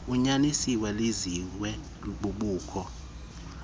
unyanisile liziswe bubukho